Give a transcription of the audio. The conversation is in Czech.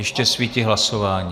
Ještě svítí hlasování.